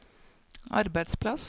arbeidsplass